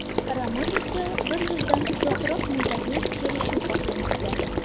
Ramos esa bir yildan uzoqroq muddatli kelishuv xohlamoqda.